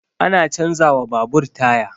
Ana canza wa babur taya